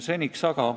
Seniks aga ...